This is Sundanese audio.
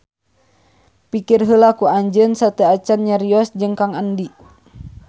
Pikir heula ku anjeun sateuacan nyarios jeung Kang Andi